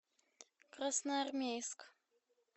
красноармейск